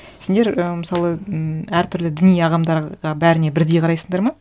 сендер і мысалы м әр түрлі діни ағымдарға бәріне бірдей қарайсыңдар ма